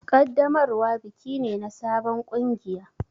Ƙaddamarwa biki ne na sabon kungiya.